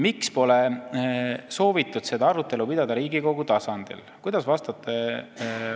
Miks pole soovitud seda arutelu pidada Riigikogu tasandil?